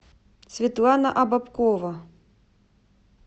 светлана обобкова